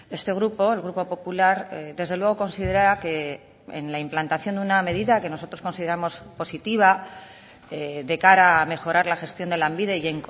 este grupo el grupo popular desde luego considera que en la implantación de una medida que nosotros consideramos positiva de cara a mejorar la gestión de lanbide y